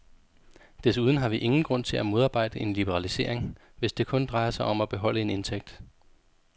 Desuden har vi ingen grund til at modarbejde en liberalisering, hvis det kun drejer sig om at beholde en indtægt.